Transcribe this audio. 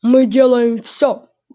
мы делаем всё